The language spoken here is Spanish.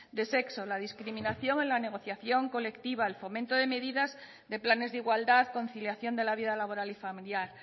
de sexo la discriminación en la negociación colectiva el fomento de medidas de planes de igualdad conciliación de la vida laboral y familiar